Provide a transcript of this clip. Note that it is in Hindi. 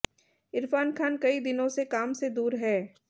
इरफान खान कई दिनों से काम से दूर हैं